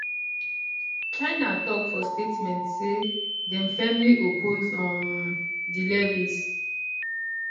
china tok for statement say dem firmly oppose um di levies